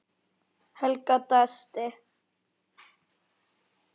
Helga dæsti.